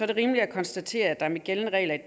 det rimeligt at konstatere at der med gældende regler i